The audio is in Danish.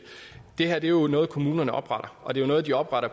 det her er jo noget kommunerne opretter og det er noget de opretter